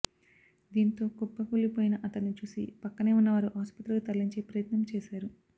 దీంతో కుప్పకూలిపోయిన అతణ్ణి చూసి పక్కనే ఉన్నవారు ఆసుపత్రికి తరలించే ప్రయత్నం చేశారు